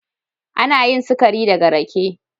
Ana yin sikari daga rake.